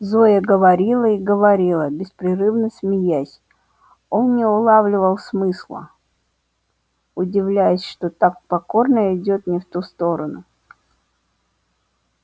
зоя говорила и говорила беспрерывно смеясь он не улавливал смысла удивляясь что так покорно идёт не в ту сторону